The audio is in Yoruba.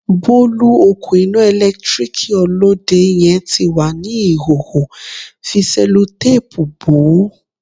Bolu, òkun iná ẹ̀lẹ́tíríkì Olóde yẹn ti wà ní ìhòòhò, fi Sẹ́lótápùù bò ó.